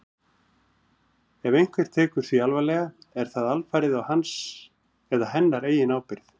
Ef einhver tekur því alvarlega er það alfarið á hans eða hennar eigin ábyrgð.